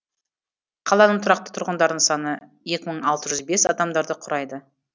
қаланың тұрақты тұрғындарының саны екі мың алты жүз бес адамдарды құрайды